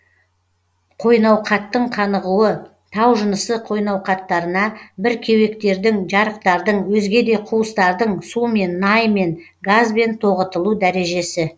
қойнауқаттың қанығуы тау жынысы қойнауқаттарына бір кеуектердің жарықтардың өзге де куыстардың сумен наймен газбен тоғытылу дәрежесі